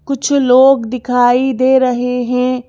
कुछ लोग दिखाई दे रहे हैं।